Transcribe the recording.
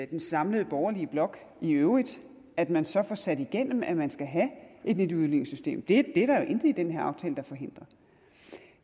den samlede borgerlige blok i øvrigt at man så får sat igennem at man skal have et nyt udligningssystem det er der intet i den her aftale der forhindrer